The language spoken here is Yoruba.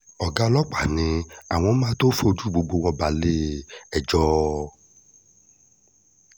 ọ̀gá ọlọ́pàá ni àwọn máa tóó fojú gbogbo wọn balẹ̀-ẹjọ́